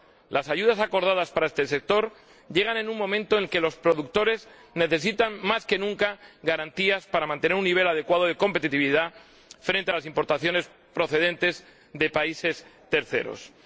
Las ayudas acordadas para este sector llegan en un momento en que los productores necesitan más que nunca garantías para mantener un nivel adecuado de competitividad frente a las importaciones procedentes de terceros países.